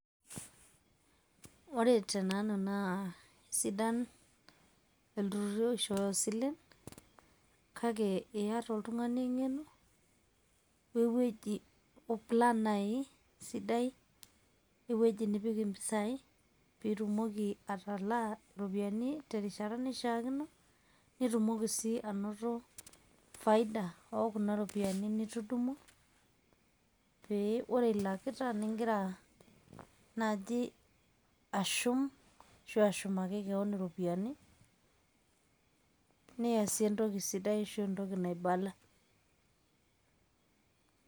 Ore tenanu naa sidan ilturruri oishooyo isilen kake iata oltung'ani eng'eno we ewueji o plan nai sidai wo ewueji nipik impisai pitumoki atalaa ropiani terishata naishaakino nitumoki sii anoto faida oo kuna ropiani nitudumua pee ore ilakita ning'ira naaji ashum ashu ashumaki keon iropiani, niasie entoki sidai ashuu entoki naibala.